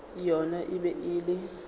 yona e be e le